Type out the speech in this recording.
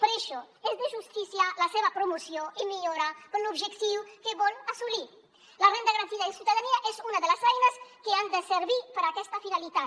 per això és de justícia la seva promoció i millora per l’objectiu que vol assolir la renda garantida de ciutadania és una de les eines que han de servir per a aquesta finalitat